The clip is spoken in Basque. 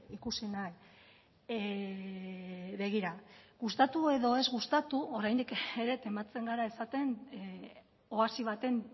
ikusi nahi begira gustatu edo ez gustatu oraindik ere tematzen gara esaten oasi baten